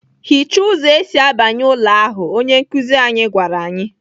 "Hicha ụzọ esi abanye ụlọ ahu!" Onye nkụzi anyị gwara anyị.